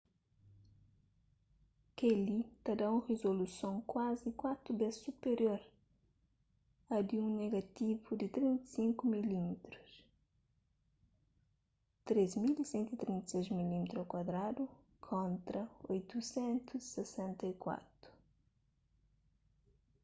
kel-li ta da un rizoluson kuazi kuatu bês superior a di un negativu di 35 mm 3136 mm2 kontra 864